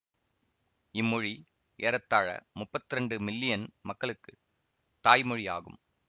இம்மொழி ஏறத்தாழ முப்பத்திரண்டு மில்லியன் மக்களுக்கு தாய்மொழி ஆகும்